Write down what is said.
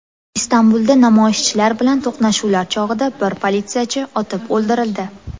Istanbulda namoyishchilar bilan to‘qnashuvlar chog‘ida bir politsiyachi otib o‘ldirildi.